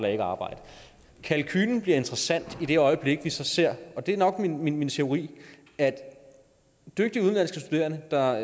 er i arbejde kalkulen bliver interessant i det øjeblik vi så ser og det er nok min min teori at dygtige udenlandske studerende der